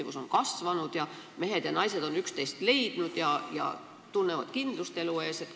Kus on sündimus kasvanud ning mehed ja naised on üksteist leidnud ja tunnevad kindlust elu ees?